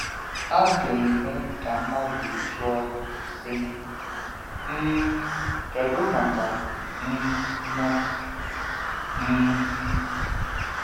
A ga - eme ka mmadụ jụọ, sị: ‘ um Kedu maka um m ?’ um